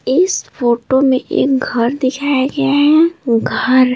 इस फोटो में एक घर दिखाया गया है घर--